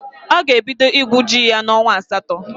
Ọ ga-ebido igwu ji ya n'onwa asatọ.